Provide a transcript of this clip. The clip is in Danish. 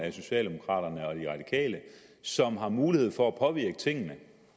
af socialdemokraterne og de radikale som har mulighed for at påvirke tingene